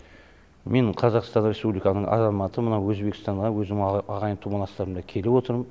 мен қазақстан республиканың азаматы мына өзбекстанға ағайын тумаластарыма келіп отырм